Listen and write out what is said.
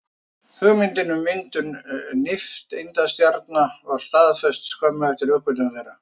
Hugmyndin um myndun nifteindastjarna var staðfest skömmu eftir uppgötvun þeirra.